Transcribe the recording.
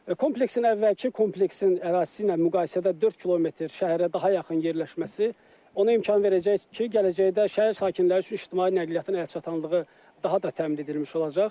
Kompleksin əvvəlki kompleksin ərazisi ilə müqayisədə 4 km şəhərə daha yaxın yerləşməsi ona imkan verəcək ki, gələcəkdə şəhər sakinləri üçün ictimai nəqliyyatın əlçatanlığı daha da təmin edilmiş olacaq.